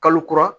Kalo kura